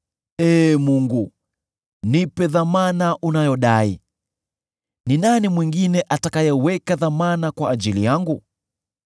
“Ee Mungu, nipe dhamana unayodai. Ni nani mwingine atakayeweka dhamana kwa ajili yangu?